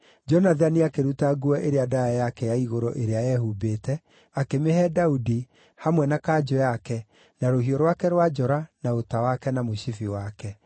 Jonathani akĩruta nguo ĩrĩa ndaaya yake ya igũrũ ĩrĩa eehumbĩte akĩmĩhe Daudi, hamwe na kanjũ yake, na rũhiũ rwake rwa njora, na ũta wake na mũcibi wake.